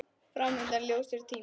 Fram undan ljósir tímar.